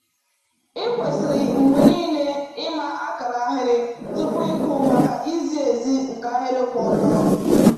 Ị kwesịrị mgbe niile ịma akara ahịrị tupu ịkụ maka izi ezi nke ahịrị kwụ ọtọ.